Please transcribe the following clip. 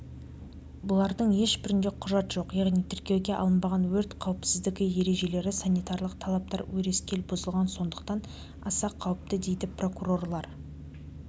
бұлардың ешбірінде құжат жоқ яғни тіркеуге алынбаған өрт қауіпсіздігі ережелері санитарлық талаптар өрескел бұзылған сондықтан аса қауіпті дейді прокурорлар